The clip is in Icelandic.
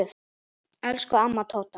Elsku amma Tóta.